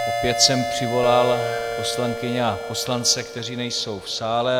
Opět jsem přivolal poslankyně a poslance, kteří nejsou v sále.